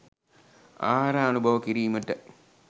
ආහාර අනුභව කිරීමට